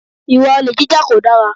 Ìwà olè jíjà kò dára.